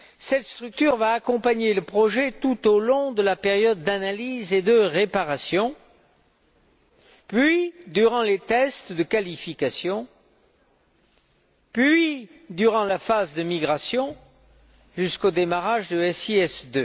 Cette structure va accompagner le projet tout au long de la période d'analyse et de réparation puis, durant les tests de qualification, puis durant la phase de migration, jusqu'au démarrage de SIS II.